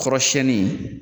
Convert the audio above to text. Kɔrɔsɛnin.